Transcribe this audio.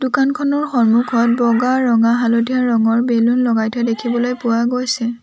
দোকানখনৰ সন্মুখত বগা ৰঙা হালধীয়া ৰঙৰ বেলুন লগাই থোৱা দেখিবলৈ পোৱা গৈছে।